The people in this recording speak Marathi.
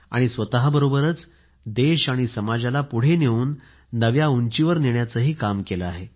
स्वतःबरोबरच देश आणि समाजाला पुढे नेऊन नव्या उंचीवर नेण्याचे काम केले आहे